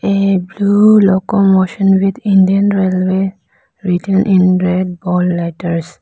a blue local motion with Indian railway written in red bold letters.